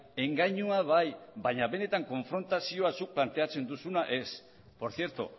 engainua bai baina benetan konfrontazioa zuk planteatzen duzuna ez por cierto